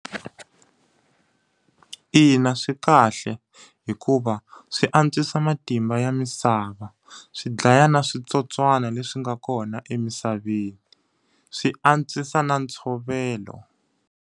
Ina swi kahle. Hikuva swi antswisa matimba ya misava, swi dlaya na switsotswana leswi nga kona emisaveni, swi antswisa na ntshovelo.